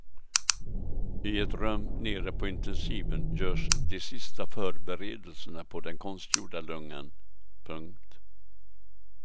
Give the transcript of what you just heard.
I ett rum nere på intensiven görs de sista förberedelserna på den konstgjorda lungan. punkt